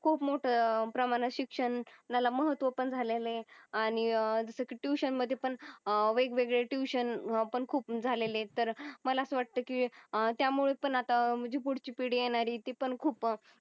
खूप मोठ प्रमाणात शिक्षणाला महत्व पण झालेले आणि जस कि ट्युशन मधे पण वेग वेगळे ट्युशन पण खूप झालेले तर मला अस वाटतंय कि त्या मुळे पण अत्ता फूडची पीडी येणारी ती पण खूप